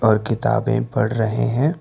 और किताबें पढ़ रहे हैं।